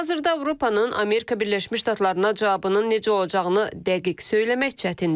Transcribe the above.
Hazırda Avropanın Amerika Birləşmiş Ştatlarına cavabının necə olacağını dəqiq söyləmək çətindir.